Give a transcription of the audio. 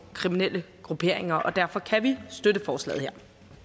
kriminelle grupperinger og derfor kan vi støtte forslag